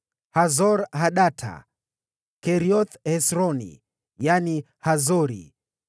Hazor-Hadata, Kerioth-Hezroni (yaani Hazori),